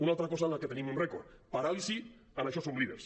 una altra cosa en la que tenim un rècord paràlisi en això som líders